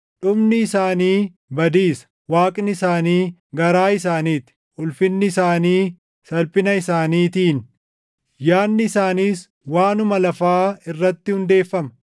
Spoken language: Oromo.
Dhumni isaanii badiisa; Waaqni isaanii garaa isaanii ti; ulfinni isaanii salphina isaaniitiin. Yaadni isaaniis waanuma lafaa irratti hundeeffama.